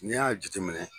N'i y'a jateminɛ